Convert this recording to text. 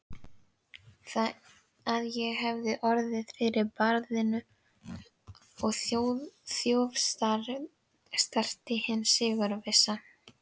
Að ég hefði orðið fyrir barðinu á þjófstarti hins sigurvissa.